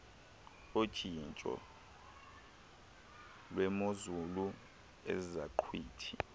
otshintsho lwemozulu enezaqhwithi